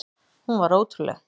Hún var ótrúleg.